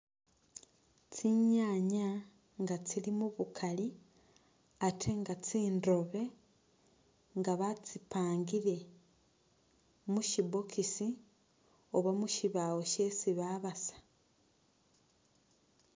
Tsinyanya nga tsili mubukaali ate nga tsindobe nga batsipangile mushi'box oba mushibawo shesi babasa